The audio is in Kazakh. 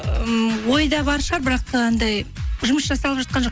ммм ойда бар шығар бірақ анандай жұмыс жасалып жатқан жоқ